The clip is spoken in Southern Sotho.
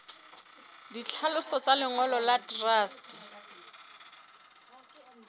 ditlhaloso tsa lengolo la truste